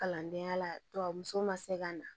Kalandenya la tubabuso ma se ka na